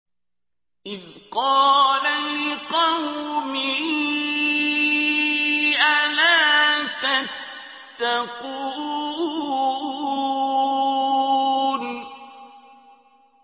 إِذْ قَالَ لِقَوْمِهِ أَلَا تَتَّقُونَ